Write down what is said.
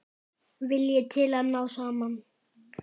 Vilji til að ná saman.